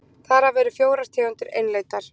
þar af eru fjórar tegundir einlendar